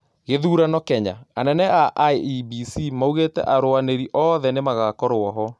Gĩthurano Kenya: Anene a IEBC maugĩte arũanĩri oothe nĩmagakũrwo ho